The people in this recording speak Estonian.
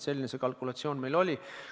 Selline kalkulatsioon meil oli.